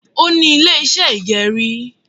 Ó ní Ilé iṣẹ́ ìgẹrí